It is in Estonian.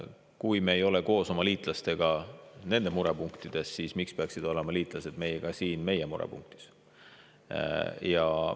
Kui me ei ole koos oma liitlastega, kui nende murepunktidega, siis miks peaksid olema liitlased meiega, kui meie murepunktidega?